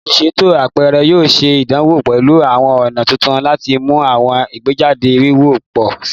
Oluṣeto apẹrẹ yoo ṣe idanwo pẹlu awọn ọna tuntun lati mu awọn igbejade wiwo pọ si